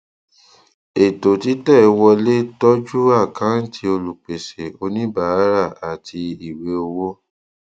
ètò títẹ wọlé tọjú àkáǹtì olùpèsè oníbàárà àti ìwé owó